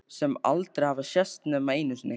Sem aldrei hafa sést nema einu sinni.